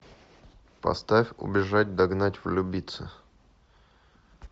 поставь убежать догнать влюбиться